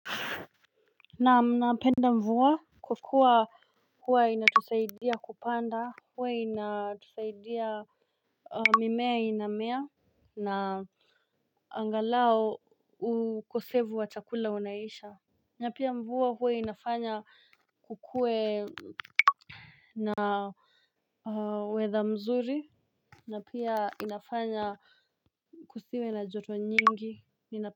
Naam napenda mvua kwa kuwa huwa inatusaidia kupanda. Huwa inatusaidia mimea inamea. Na angalao ukosevu wa chakula unaisha. Na pia mvua huwe inafanya kukuwe na weather mzuri. Na pia inafanya kusiwe na joto nyingi.